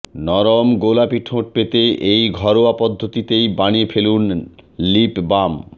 নরম গোলাপি ঠোঁট পেতে এই ঘরোয়া পদ্ধতিতেই বানিয়ে ফেলুন লিপবাম